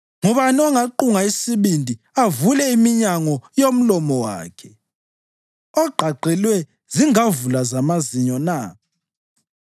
Ngubani ongaqunga isibindi avule iminyango yomlomo wakhe, ogqagqelwe zingavula zamazinyo na?